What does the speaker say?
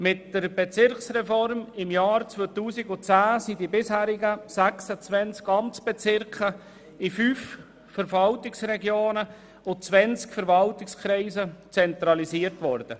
Mit der Bezirksreform im Jahr 2010 sind die bisherigen 26 Amtsbezirke in fünf Verwaltungsregionen und 20 Verwaltungskreisen zentralisiert worden.